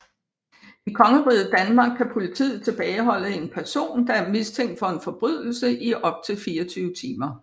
I Kongeriget Danmark kan politiet tilbageholde en person der er mistænkt for en forbrydelse i op til 24 timer